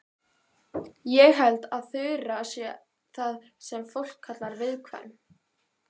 Ég held að Þura sé það sem fólk kallar viðkvæm.